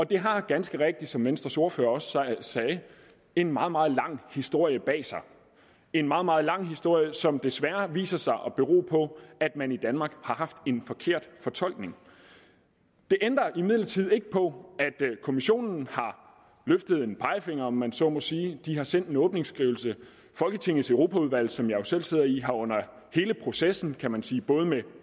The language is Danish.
det har ganske rigtigt som venstres ordfører også sagde en meget meget lang historie bag sig en meget meget lang historie som desværre viser sig at bero på at man i danmark har haft en forkert fortolkning det ændrer imidlertid ikke på at kommissionen har løftet en pegefinger om man så må sige de har sendt en åbningsskrivelse folketingets europaudvalg som jeg selv sidder i har jo under hele processen kan man sige både med